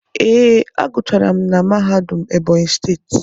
Ee, a gụchara m na mahadum Ebonyi steeti.